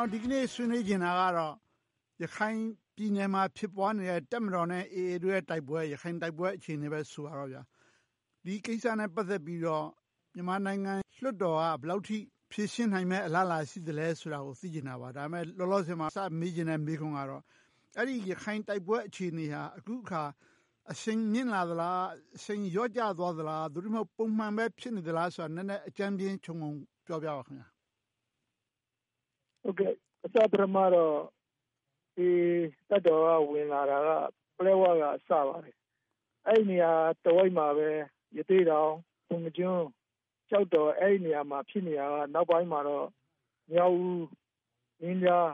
ော် ဒီနေ့ဆွေးနွေးချင်တာကတော့ ရခိုင်ပြည်နယ်မှာ ဖြစ်ပွားနေတဲ့ တပ်မတော်နဲ့ AA တို့ရဲ့ တိုက်ပွဲ အခြေအနေ ဖြစ်ပါတယ်။ ဒီကိစ္စနဲ့ ပတ်သက်ပြီး မြန်မာနိုင်ငံလွှတ်တော်က ဘယ်လောက်အထိ ဖြေရှင်းနိုင်မယ့် အလားအလာ ရှိသလဲဆိုတာကို သိချင်တာပါ။ ဒါပေမဲ့ လောလောဆယ်မှာ စပြီးမေးချင်တဲ့မေးခွန်းကတော့ အဲဒီရခိုင်တိုက်ပွဲအခြေအနေဟာ အခုအခါ အရှိန်မြင့်လာသလား။ အရှိန်လျော့ကျသွားသလား။ သို့တည်းမဟုတ် ပုံမှန်ပဲဖြစ်နေသလားဆိုတာကို နည်းနည်းအကြမ်းဖျဉ်းခြုံငုံပြောပြပေးပါ။ အစပထမမှာတော့ တပ်မတော်က ဝင်လာတာ ပလက်ဝဘက် စပါတယ်။ အဲဒီနေရာတဝိုက်မှာပဲ ရသေ့တောင်၊ ပုဏ္ဏားကျွန်း၊ ကျောက်တော်ဒေသတွေမှာ ဖြစ်နေတာကနေ နောက်ပိုင်းမှာတော့ မြောက်ဦး၊ မင်းပြား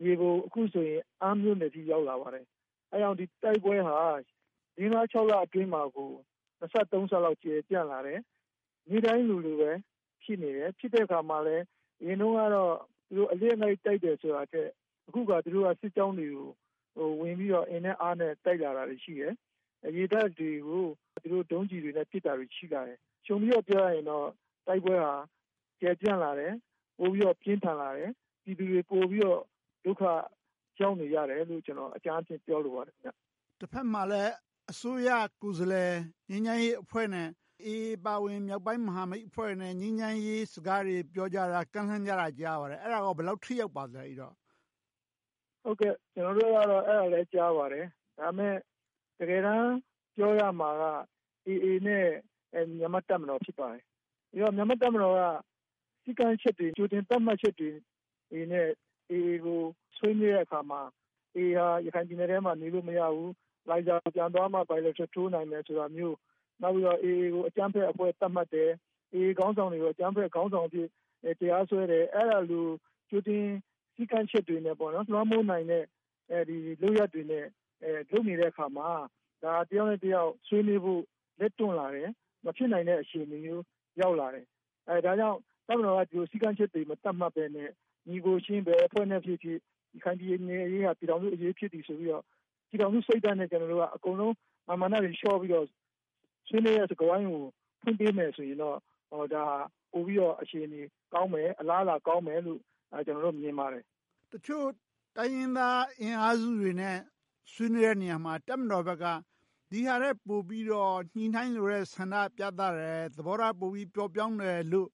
၊ မြေပုံ နဲ့ အခုဆိုရင် အမ်းမြို့နယ်အထိ ရောက်လာပါတယ်။ အဲဒါကြောင့် တိုက်ပွဲတွေဟာ လေးငါးခြောက်လအတွင်းမှာ နှစ်ဆသုံးဆလောက် ကျယ်ပြန့်လာတယ်။ နေ့တိုင်းလိုလို ဖြစ်နေတယ်။ ဖြစ်တဲ့အခါမှာလဲ အရင်တုန်းကတော့ - တိုက်တာထက်၊ အခုအခါ စစ်ကြောင်းတွေကို ဝင်ပြီးတော့ အင်နဲ့အားနဲ့ တိုက်လာတာတွေ ရှိတယ်။ ရေတပ်တွေကို ဒုံးကျည်းတွေနဲ့ ပစ်တာတွေ ရှိလာတယ်။ ခြုံပြီးတော့ပြောရရင်တော့ တိုက်ပွဲဟာ ကျယ်ပြန့်လာတယ်။ ပိုပြီးတော့ ပြင်းထန်လာတယ်။ ပြည်သူတွေ ပိုပြီးတော့ ဒုက္ခရောက်နေကြတယ်လို့ အကြမ်းအားဖြင့် ပြောလိုပါတယ်။ တဘက်မှာလဲ အစိုးရကိုယ်စားလှယ် ငြိမ်းချမ်းရေးအဖွဲ့နဲ့ အေအေ အပါအဝင် မြောက်ပိုင်းမဟာမိတ်အဖွဲ့တွေနဲ့ ငြိမ်းချမ်းရေးစကားတွေ ပြောကြတာကို ကြားရပါတယ်။ အဲဒါက ဘယ်လောက်အထိ ထိရောက်ပါသလဲ။ ကျနော်တို့လည်း အဲဒါကိုကြားပါတယ်။ ဒါပေမဲ့ တကယ်တမ်း ပြောရမှာက အေအေ နဲ့ မြန်မာ့တပ်မတော် ဖြစ်ပါတယ်။ ပြီးတော့ မြန်မာ့တပ်မတော်က စည်းကမ်းချက်တွေ ကြိုတင်သတ်မှတ်ချက်တွေနဲ့ အေအေကို ဆွေးနွေးတဲ့အခါမှာ အေအေဟာ ရခိုင်ပြည်နယ်အတွင်းမှာ နေလို့မရဘူး။ လိုင်းဇာကို ပြန်သွားမှ bilateral ထိုးနိုင်မယ် ဆိုတာမျိုး၊ နောက်ပြီးတော့ အေအေကို အကြမ်းဖက်အဖွဲ့အဖြစ် သတ်မှတ်တာမျိုး၊ အေအေခေါင်းဆောင်တွေကို အကြမ်းဖက်သမားတွေအဖြစ် တရားစွဲတယ် - အဲဒီလို ကြိုတင်စည်းကမ်းချက်တွေနဲ့ လွှမ်းမိုးနိုင်တဲ့ လုပ်ရပ်တွေနဲ့ လုပ်နေတဲ့အခါမှာ ဒါက တယောက်နဲ့တယောက် ဆွေးနွေးနိုင်ဖို့ လက်တွန့်လာတယ်။ မဖြစ်နိုင်တဲ့အခြေအနေမျိုး ရောက်လာတယ်။ ဒါကြောင့် တပ်မတော်က ဒီလိုစည်းကမ်းချက်တွေ ကြိုတင်မသတ်မှတ်ဘဲနဲ့ ညီအကိုချင်း ဘယ်အဖွဲ့နဲ့ဖြစ်ဖြစ် ရခိုင်ပြည်နယ်အရေးသည် ပြည်ထောင်စုအရေး ဖြစ်တယ်ဆိုပြီးတော့ ပြည်ထောင်စုစိတ်ဓါတ်နဲ့ ကျနော်တို့က မာန်မာနတွေ လျှော့ပြီးတော့ ဆွေးနွေးတဲ့စကားဝိုင်းကို ဖွင့်ပေးမယ်ဆိုရင်တော့ ဒါဟာ ပိုပြီးတော့ အခြေအနေကောင်းမယ်။ အလားအလာကောင်းမယ်လို့ မြင်ပါတယ်။ တချို့တိုင်းရင်းသားအင်အားစုတွေနဲ့ ဆွေးနွေးတဲ့နေရာမှာ တပ်မတော်ဘက်က ဒီဟာထက် ပိုပြီးတော့ ညှိနှိုင်းလိုတဲ့ဆန္ဒ ပြသတယ်။ သဘောထားပိုပြီးတော့ ပျော့ပျောင်းတယ်လို့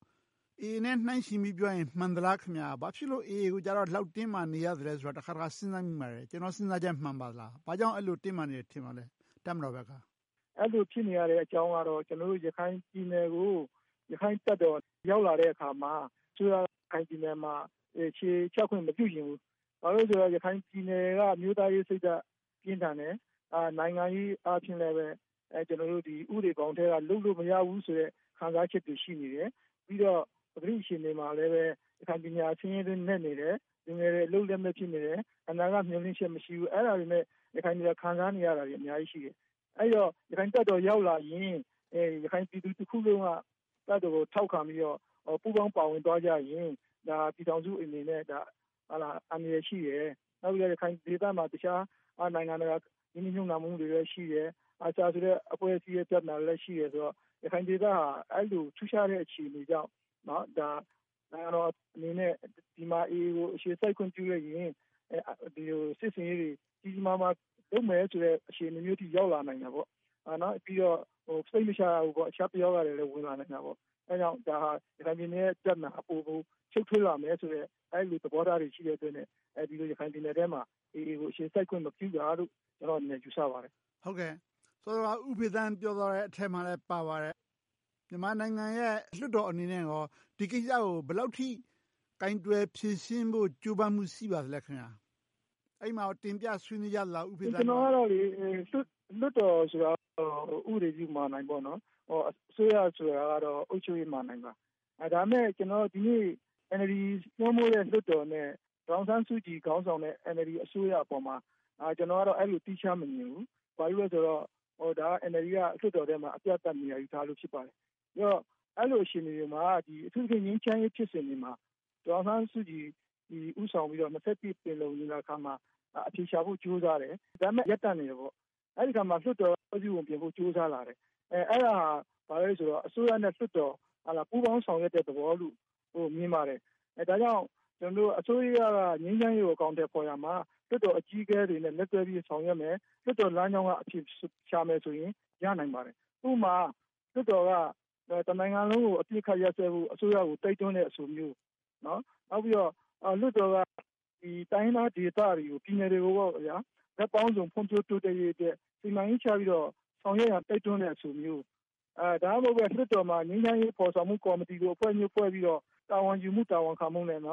အေအေနဲ့ နှိုင်းယှဉ်ပြီး ပြောမယ်ဆိုရင် မှန်သလား။ ဘာဖြစ်လို့ အေအေကိုတော့ ဒီလောက်အထိ တင်းမာနေရသလဲဆိုတာကို တခါတခါ စဉ်းစားမိပါတယ်။ ကျနော့်စဉ်းစားချက် မှန်ပါသလား။ ဘာကြောင့် တပ်မတော်ဘက်က အဲဒီလောက် တင်းမာနေတယ် ထင်ပါသလဲ။ အဲဒီလို ဖြစ်နေရတဲ့အကြောင်းကတော့ ကျနော်တို့ ရခိုင်ပြည်နယ်ကို ရခိုင်တပ်တော် ရောက်လာတဲ့အခါမှာ အစိုးရက ရခိုင်ပြည်နယ်မှာ အခြေချခွင့် မပြုချင်ဘူး။ ဘာဖြစ်လို့လဲဆိုတော့ ရခိုင်ပြည်နယ်က အမျိုးသားရေးစိတ်ဓါတ် ပြင်းထန်တယ်။ နိုင်ငံရေးအားဖြင့်လဲ ဥပဒေဘောင်အတွင်းကနေ လုပ်လို့မရဘူးဆိုတဲ့ ခံစားချက်တွေ ရှိနေတယ်။ ပြီးတော့ ပကတိအခြေအနေမှာလဲ ရခိုင်ပြည်နယ်က ဆင်းရဲတွင်းနက်နေတယ်။ လူငယ်တွေ အလုပ်လက်မဲ့ ဖြစ်နေတယ်။ အနာဂတ်မျှော်လင့်ချက် မရှိဘူး။ အဲဒါတွေနဲ့ ရခိုင်တွေက ခံစားနေရတာတွေ အများကြီးရှိတယ်။ အဲဒီတော့ ရခိုင်တပ်တော် ရောက်လာရင် ရခိုင်ပြည်သူတွေက တပ်တော်ကို ထောက်ခံပြီးတော့ ပူးပေါင်းပါဝင်သွားကြရင် ပြည်ထောင်စုအနေနဲ့ အန္တရာယ်ရှိတယ်။ နောက်ပြီးတော့ ရခိုင်ဒေသမှာ တခြားနိုင်ငံတကာ ရင်းနှီးမြုပ်နံှမှုတွေရှိတယ်။ ARSA ဆိုတဲ့ အဖွဲ့အစည်း ပြဿနာလည်း ရှိတယ်ဆိုတော့ ရခိုင်ဒေသဟာ အဲဒီလို ထူးခြားတဲ့အခြေအနေကြောင့် နိုင်ငံတော်အနေနဲ့ ဒီဒေသမှာ အေအေကို အခြေစိုက်ခွင့် ပြုလိုက်ရင် ဒီလိုစစ်ဆင်ရေးတွေ ကြီးကြီးမားမား လုပ်မယ်ဆိုတဲ့ အခြေအနေမျိုးအထိ ရောက်လာနိုင်တာပေါ့။ ပြီးတော့ စိတ်မချရဘူး - တခြားပယောဂတွေလည်း ဝင်လာနိုင်တယ်။ အဲဒါကြောင့် ဒါဟာ ရခိုင်ပြည်နယ်ရဲ့ ပြဿနာအပေါ် ရှုပ်ထွေးလာမယ်ဆိုတဲ့ အဲဒီလို သဘောထားတွေ ရှိတဲ့အတွက် ရခိုင်ပြည်နယ်အတွင်းမှာ အေအေကို အခြေစိုက်ခွင့် မပြုတာလို့ ကျနော့်အနေနဲ့ ယူဆပါတယ်။ စောစောက ဦးဖေသန်း ပြောသွားတဲ့အထဲမှာလဲ ပါပါတယ်။ မြန်မာနိုင်ငံရဲ့ လွှတ်တော်အနေနဲ့ ဒီကိစ္စကို ဘယ်လောက်အထိ ကိုင်တွယ်ဖြေရှင်းဖို့ ကြိုးပမ်းမှု ရှိပါသလဲ။ အဲဒီမှာ တင်ပြဆွေးနွေးကြသလား။ လွှတ်တော်ဆိုတာ ဥပဒေပြုမဏ္ဍိုင် ဖြစ်တယ်။ အစိုးရဆိုတာတော့ အုပ်ချုပ်ရေးမဏ္ဍိုင်ပါ။ ဒါပေမဲ့ ဒီနေ့ NLD စိုးမိုးတဲ့ လွှတ်တော်နဲ့ ဒေါ်အောင်ဆန်းစုကြည်ခေါင်းဆောင်တဲ့ NLD အစိုးရအပေါ်မှာ အဲဒီလို သီးခြားမမြင်ဘူး။ ဘာဖြစ်လို့လဲဆိုတော့ NLD က လွှတ်တော်ထဲမှာ အပြတ်သတ် နေရာယူထားလို့ ဖြစ်ပါတယ်။ အဲဒီလိုအခြေအနေတွေမှာ အထူးသဖြင့် ငြိမ်းချမ်းရေးဖြစ်စဉ်တွေမှာ ဒေါ်အောင်ဆန်းစုကြည် ဦးဆောင်ပြီးတော့ ရာစု ပင်လုံညီလာခံမှာ အဖြေရှာဖို့ ကြိုးစားတယ်။ ဒါပေမဲ့ ရပ်တန့်နေတယ်။ အဲဒီအခါမှာ လွှတ်တော်က ဖွဲ့စည်းပုံပြင်ဖို့ ကြိုးစားလာတယ်။ အဲဒါက ဘာလဲဆိုတော့ အစိုးရနဲ့ လွှတ်တော်တို့ ပူးပေါင်းဆောင်ရွက်တဲ့ သဘောလို့ မြင်ပါတယ်။ ဒါကြောင့်မို့ အစိုးရက ငြိမ်းချမ်းရေးကို အကောင်အထည်ဖော်ရာမှာ လွှတ်တော်အကြီးအကဲတွေနဲ့ လက်တွဲပြီး ဆောင်ရွက်မယ်။ လွှတ်တော်လမ်းကြောင်းကနေ ရှာမယ်ဆိုရင် ရနိုင်ပါတယ်။ ဥပမာ လွှတ်တော်က တနိုင်ငံလုံးကို အပစ်အခတ်ရပ်စဲဖို့ အစိုးရကို တိုက်တွန်းတဲ့အဆိုမျိုး။ နောက်ပြီးတော့ လွှတ်တော်က တိုင်းရင်းသားဒေသတွေ၊ ပြည်နယ်တွေကို ဘက်ပေါင်းစုံဖွံ့ဖြိုးတိုးတက်ရေးအတွက် စီမံကိန်းချပြီးတော့ ဆောင်ရွက်ရန် တိုက်တွန်းတဲ့အဆိုမျိုး။ ဒါမှမဟုတ်ဘဲ လွှတ်တော်မှာ ငြိမ်းချမ်းရေးဖော်ဆောင်မှု ကော်မတီအဖွဲ့မျိုး ဖွဲ့ပြီးတော့ တာဝန်ယူမှု၊ တာဝန်ခံမှုနဲ့ အ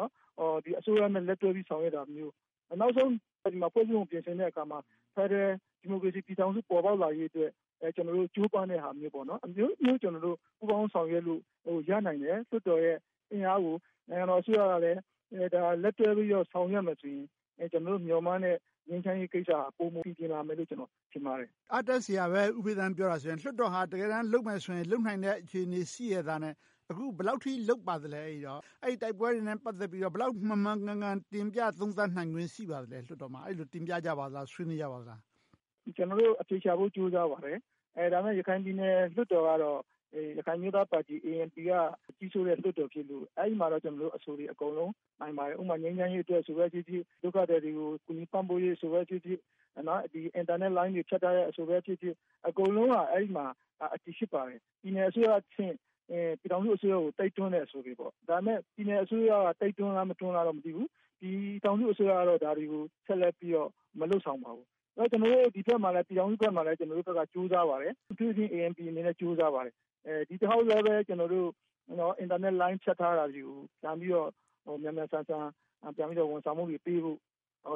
စိုးရနဲ့ လက်တွဲဆောင်ရွက်တာမျိုး။ နောက်ဆုံး ဖွဲ့စည်းပုံကို ပြင်ဆင်တဲ့အခါမှာ ဖယ်ဒရယ် ဒီမိုကရေစီ ပြည်ထောင်စု ပေါ်ပေါက်လာရေအတွက် ကြိုးပမ်းတဲ့ဟာမျိုးစသဖြင့် အမျိုးမျိုး ပူးပေါင်းဆောင်ရွက်လို့ရနိုင်တယ်။ လွှတ်တော်ရဲ့ အင်အားကို နိုင်ငံတော်အစိုးရကလည်း လက်တွဲပြီးတော့ ဆောင်ရွက်မယ်ဆိုရင် ကျနော်တို့ မျှော်မှန်းတဲ့ ငြိမ်းချမ်းရေးကိစ္စက ပိုမိုပီပြင်လာမယ်လို့ ထင်ပါတယ်။ အားတက်စရာပဲ ဦးဖေသန်း ပြောအရဆိုရင်။ လွှတ်တော်ဟာ တကယ်တမ်း လုပ်မယ်ဆိုရင် လုပ်နိုင်တဲ့ အခြေအနေရှိရက်သားနဲ့ အခု ဘယ်လောက်အထိ လုပ်ပါသလဲ။ တိုက်ပွဲတွေနဲ့ ပတ်သက်ပြီးတော့ လွှတ်တော်မှာ ဘယ်လောက်မှန်မှန်ကန်ကန် တင်ပြသုံးသပ်နိုင်ခွင့် ရှိပါသလဲ။ အဲဒီလို တင်ပြကြပါသလား။ ဆွေးနွေးကြပါသလား။ ကျနော်တို့ အဖြေရှာဖို့ ကြိုးစားကြပါတယ်။ ဒါပေမဲ့ ရခိုင်ပြည်နယ် လွှတ်တော်ကတော့ ရခိုင်အမျိုးသားပါတီ ANP က ကြီးစိုးတဲ့လွှတ်တော်ဖြစ်လို့ အဲဒီမှာတော့ အဆိုတွေ နိုင်ပါတယ်။ ဥပမာ ငြိမ်းချမ်းရေးအဆိုပဲဖြစ်ဖြစ်၊ ဒုက္ခသည်တွေကို ကူညီပံ့ပိုးရေးအဆိုပဲဖြစ်ဖြစ်၊ အင်တာနက်လိုင်းတွေ ဖြတ်တောက်ထားတဲ့အဆိုပဲဖြစ်ဖြစ် အကုန်လုံးက အဲဒီမှာ အတည်ဖြစ်ပါတယ်။ ပြည်နယ်အစိုးရအဆင့်၊ ပြည်ထောင်စုအစိုးရကို တိုက်တွန်းတဲ့အဆိုတွေပါ။ ဒါပေမဲ့ ပြည်နယ်အစိုးရက တိုက်တွန်းလား၊ မတိုက်တွန်းလား မသိဘူး။ ပြည်ထောင်စုအစိုးရကတော့ ဒါတွေကို ဆက်လက်ပြီးတော့ မလုပ်ဆောင်ပါဘူး။ ဒီဘက် ပြည်ထောင်စုဘက်မှာလဲ ကြိုးစားပါတယ်။ အထူးသဖြင့် ANP အနေနဲ့ ကြိုးစားပါတယ်။ ဒီတခေါက်လဲ ကျနော်တို့ အင်တာနက်လိုင်း ဖြတ်ထားတာတွေကို မြန်မြန်ဆန်ဆန် ဝန်ဆောင်မှုတွေပေးဖို့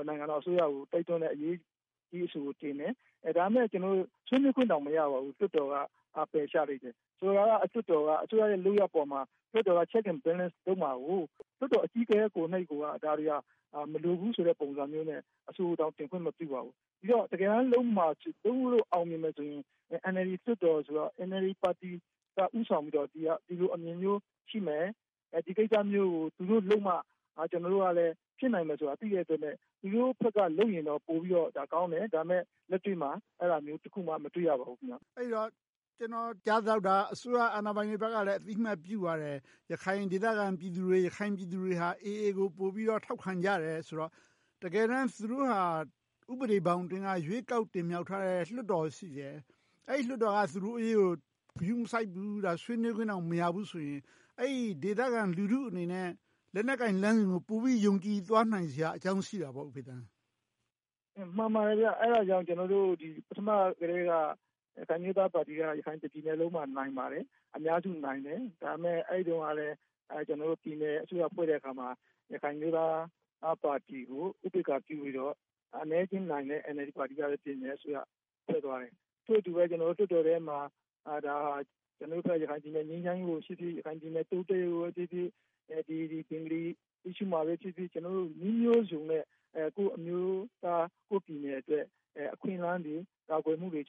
နိုင်ငံတော်အစိုးရကို တိုက်တွန်းတဲ့ရေးအဆိုကို တင်ခဲ့တယ်။ ဒါပေမဲ့ ကျနော်တို့ ဆွေးနွေးခွင့်တောင် မရပါဘူး။ လွှတ်တော်က ပယ်ချလိုက်တယ်။ ဆိုတော့ လွှတ်တော်က အစိုးရရဲ့ လုပ်ရပ်အပေါ်မှာ လွှတ်တော်က Check and Balance လုပ်မှာကို လွှတ်တော်အကြီးအကဲကိုယ်တိုင်က ဒါတွေက မလိုဘူးဆိုတဲ့ပုံစံမျိုးနဲ့ အဆိုကိုတောင် တင်ခွင့်မပြုပါဘူး။ ဒီတော့ တကယ်တမ်း လုပ်မှာလုပ်လို့ အောင်မြင်မယ်ဆိုရင် NLD ပါတီက ဦးဆောင်ပြီးတော့ ဒီလိုအမြင်မျိုးရှိမယ်။ ဒီကိစ္စမျိုးကို သူတို့လုပ်မှ ကျနော်တို့ကလည်း ဖြစ်နိုင်မယ်ဆိုတာကို သိတဲ့အတွက် သူတို့ဘက်က လုပ်ရင်တော့ ပိုပြီးတော့ကောင်းတယ်။ ဒါပေမဲ့ လက်တွေ့မှာ အဲဒါမျိုးတခုမှ မတွေ့ရပါဘူး။ အဲဒီတော့ ကျနော်ကြားသလောက် အစိုးရအာဏာပိုင်တွေဘက်ကလည်း အသိအမှတ်ပြုပါတယ်။ ရခိုင်ဒေသခံပြည်သူတွေဟာ အေအေကို ပိုပြီးတော့ ထောက်ခံကြတယ်ဆိုတော့ တကယ်တမ်း သူတို့ဟာ ဥပဒေဘောင်အတွင်းက ရွေးကောက်တင်မြှောက်ထားတဲ့ လွှတ်တော်ရှိတယ်။ အဲဒီလွှတ်တော်က သူတို့အရေးကို ဂရုမစိုက်ဘူး။ ဆွေးနွေးခွင့်တောင် မရဘူးဆိုရင် အဲဒီဒေသခံ လူထုအနေနဲ့ လက်နက်ကိုင်လမ်းစဉ်ကို ပိုပြီးယုံကြည်သွားစရာအကြောင်း ရှိတာပေါ့။ မှန်ပါတယ်။ အဲဒါကြောင့် ကျနော်တို့ ပထမကတည်းက ရခိုင်အမျိုးသားပါတီက တပြည်နယ်လုံးမှာ နိုင်ပါတယ်။ အများစုနိုင်တယ်။ ဒါပေမဲ့ အဲဒီတုန်းကလဲ ကျနော်တို့ ပြည်နယ်အစိုးရဖွဲ့တဲ့အခါမှာ ရခိုင်အမျိုးသားပါတီကို ဥပက္ခာပြုပြီးတော့ အနည်းအကျဉ်းနိုင်တဲ့ NLD ပါတီကပဲ အစိုးရဖွဲ့သွားတယ်။ ထို့အတူပဲ လွှတ်တော်ထဲမှာ ရခိုင်ပြည်နယ် ငြိမ်းချမ်းရေးကိုဖြစ်ဖြစ်၊ ရခိုင်ပြည်နယ် တိုးတက်ရေးကိုဖြစ်ဖြစ်၊ ဘင်္ဂလီပြဿနာပဲဖြစ်ဖြစ် - ကျနော်တို့ နည်းမျိုးစုံနဲ့ ကိုယ့်အမျိုးသား ကိုယ့်ပြည်နယ်အတွက် အခွင့်အလမ်းတွေ ကာကွယ်မှုတွေ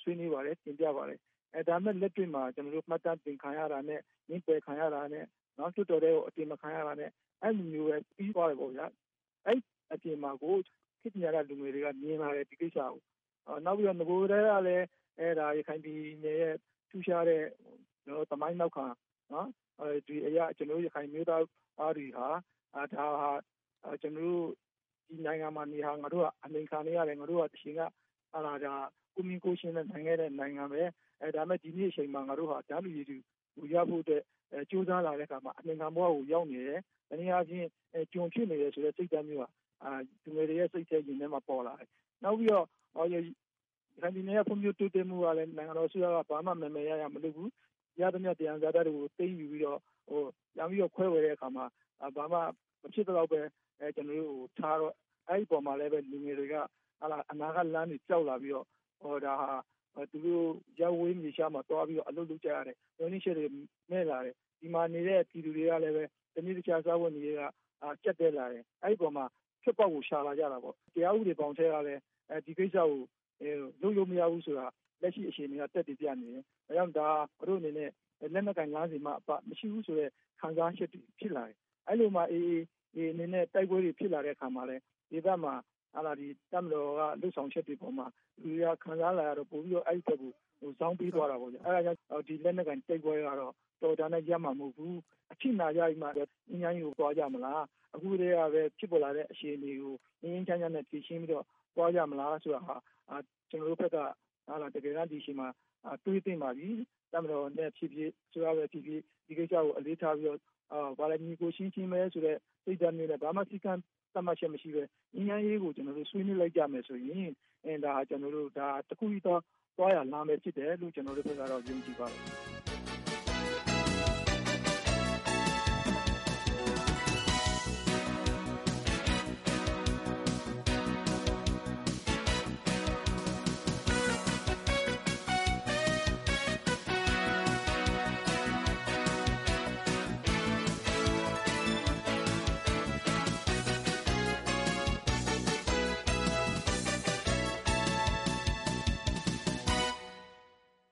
ဆွေးနွေးပါတယ်။ တင်ပြပါတယ်။ ဒါပေမဲ့ လက်တွေ့မှာ မှတ်တမ်းတင်ခံရတာနဲ့ ငြင်းပယ်ခံရတာနဲ့ လွှတ်တော်ထဲကို အတင်မခံရတာနဲ့ အဲဒီလိုနဲ့ပဲ ပြီသွားခဲ့တယ်။ အဲဒီအပြင်မှာ ခေတ်ပညာတတ်လူငယ်တွေက ဒီကိစ္စတွေကို မြင်ပါတယ်။ နောက်ပြီးတော့ နဂိုကတည်းက ရခိုင်ပြည်နယ်ရဲ့ ထူးခြားတဲ့ သမိုင်းနောက်ခံအရ ကျနော်တို့ ရခိုင်ပြည်နယ်သားတွေဟာ ဒါဟာ ကျနော်တို့ ဒီနိုင်ငံမှာနေတာ ငါတို့ အနှိမ်ခံနေရတယ်။ တချိန်က ငါတို့ဟာ ကိုယ့်မင်းကိုယ့်ချင်းနဲ့ နေခဲ့တဲ့နိုင်ငံ။ ဒါပေမဲ့ ဒီနေ့အချိန်မှာ ငါတို့ဟာ တန်းတူရည်တူ ရဖို့အတွက် ကြိုးစားလာတဲ့အခါမှာ အနှိမ်ခံဘဝကို ရောက်နေတယ်။ တနည်းအားဖြင့် ကျွန်ဖြစ်နေတယ်ဆိုတဲ့ စိတ်ဓါတ်မျိုးဟာ လူငယ်တွေစိတ်ထဲ၊ ရင်ထဲမှာ ပေါ်လာတယ်။ နောက်ပြီးတော့ ရခိုင်ပြည်နယ် ဖွံ့ဖြိုးတိုးတက်မှုကလည်း နိုင်ငံတော်အစိုးရက ဘာမှမယ်မယ်ရရ မလုပ်ဘူး။ ရသမျှ သယံဇာတတွေကို သိမ်းယူပြီးတော့ ပြန်ပြီးတော့ ခွဲဝေတဲ့အခါမှာ ဘာမှမဖြစ်သလောက်ပဲ ကျနော်တို့ကို ပေးထားတော့ အဲဒီအပေါ်မှာလည်း လူငယ်တွေက အနာဂတ်လမ်းတွေ ပျောက်လာပြီးတော့ ဒါဟာ သူတို့ရပ်ဝေးမြေခြားမှာ သွားပြီးတော့ အလုပ်လုပ်ကြရတယ်။ မျှော်လင့်ချက်တွေ မဲ့လာတယ်။ ဒီမှာနေတဲ့ ပြည်သူတွေကလည်း တနေ့တခြား စားဝတ်နေရေးက ကျပ်တည်းလာတယ်။ အဲဒီအပေါ်မှာ ထွက်ပေါက်ကို ရှာလာကြတယ်။ တရားဥပဒေဘောင်အတွင်းကပဲ ဒီကိစ္စကို လုပ်လို့မရဘူးဆိုတာ လက်ရှိအခြေအနေက သက်သေပြနေတယ်။ ဒါကြောင့် ဒါဟာ သူတို့အနေနဲ့ လက်နက်ကိုင်လမ်းစဉ်မှအပ မရှိဘူးဆိုတဲ့ ခံစားချက်တွေ ဖြစ်လာတယ်။ အဲဒီလိုနဲ့ အေအေအနေနဲ့ တိုက်ပွဲတွေ ဖြစ်လာတဲ့အခါမှာလဲ ဒေသမှာ တပ်မတော်ရဲ့ လုပ်ဆောင်ချက်တွေအပေါ်မှာ လူတွေက ပိုခံစားလာရပြီး အဲဒီအပေါ် ပိုဇောင်းပေးသွားကြတယ်။ အဲဒါကြောင့် ဒီလက်နက်ကိုင်တိုက်ပွဲတွေကတော့ တော်ရုံတန်ရုံနဲ့ ရပ်မှာမဟုတ်ဘူး။ အထိနာကြပြီးမှ ငြိမ်းချမ်းရေးကို သွားကြမလား။ အခုကတည်းက ဖြစ်ပေါ်လာတဲ့ အခြေအနေကို ငြိမ်းငြိမ်းချမ်းချမ်းနဲ့ ဖြေရှင်းပြီးတော့ သွားကြမလားဆိုတာဟာ ကျနော်တို့ဘက် ဒီအချိန်မှာ တွေးသင့်ပါပြီ။ တပ်မတော်ဖြစ်ဖြစ်၊ အစိုးရဖြစ်ဖြစ် ဒီကိစ္စကို အလေးထားပြီးတော့ ညီအကိုအချင်းချင်းပဲဆိုတဲ့ စိတ်ဓါတ်မျိုးနဲ့ ဘာမှစည်းကမ်းသတ်မှတ်ချက်တွေ မရှိဘဲ ငြိမ်းချမ်းရေးကို ဆွေးနွေးလိုက်ကြမယ်ဆိုရင် ဒါက တခုတည်းသော သွားရလမ်း ဖြစ်တယ်လို့ ကျနော်တို့ဘက်က ယုံကြည်ပါတယ်။